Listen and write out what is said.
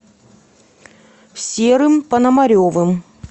серым пономаревым